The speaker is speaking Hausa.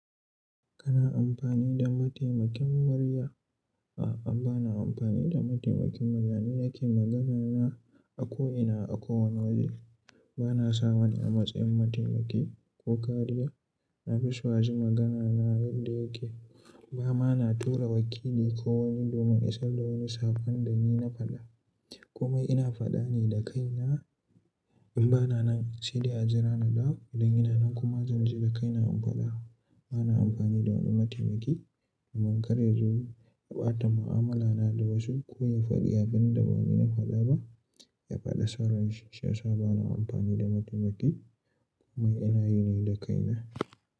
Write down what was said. Kana amfani da mataimakin murya? A'a, ba na amfani da mataimakin murya ne yake magana na a ko ina, a kowane waje. Bana sa wani a matsayin mataimaki ko kariya. Nafiso a ji magana na yadda yake. Bama na tura wakili ko wani domin i sarda wani saƙon da ni na faɗa. Kuma ina faɗa ne da kaina. In bana nan, sai dai a jira na dawo idan ina nan kuma zan je da kaina in faɗa. Bana amfani da wani mataimaki domin kar yazo ya ɓata ma'amala na da wasu ko ya faɗi abin da bani na faɗa ba. Ya faɗa sonranshi shi. Yasa bana amfani da mataimaki kuma ina yi ne da kaina.